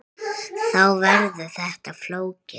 Þá verður þetta flókið.